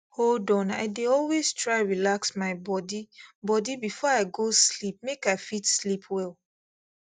hold on i dey always try relax my body body before i go sleep make i fit sleep well